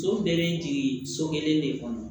So bɛɛ bɛ jigin so kelen de kɔnɔ